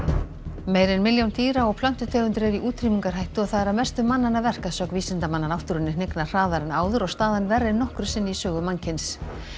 meira en milljón dýra og plöntutegundir eru í útrýmingarhættu og það er að mestu mannanna verk að sögn vísindamanna náttúrunni hnignar hraðar en áður og staðan verri en nokkru sinni í sögu mannkyns